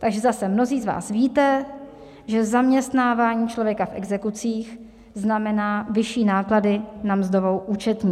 Takže zase mnozí z vás víte, že zaměstnávání člověka v exekucích znamená vyšší náklady na mzdovou účetní.